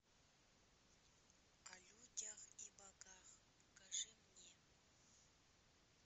о людях и богах покажи мне